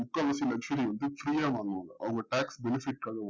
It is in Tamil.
முக்கால்வாசி luxury வந்து free யா பண்ணுவாங்க அவங்க tax benifite க்காக